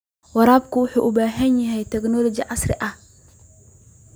Waraabku wuxuu u baahan yahay tignoolajiyada casriga ah.